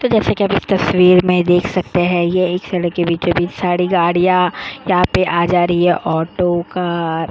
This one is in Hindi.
तो जैसे कि आप इस तस्वीर में देख सकते हैं ये एक सड़क के बीचो-बीच साड़ी गाड़ियां यहां पे आ जा रही है ऑटो का।